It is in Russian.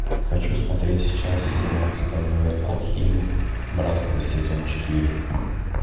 хочу смотреть сейчас сериал стальной алхимик братство сезон четыре